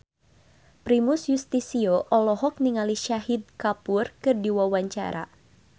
Primus Yustisio olohok ningali Shahid Kapoor keur diwawancara